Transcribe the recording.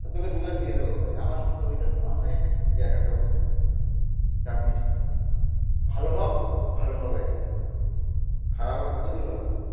তোকে দুলাখ দিয়ে দেবো ভাই, আমার মধ্যে ঐটার ধারনাই নেই যে একা খাবো চাপ নিস না. ভালো হব. ভালো হবে. খারাপ আর কতদূর হবে?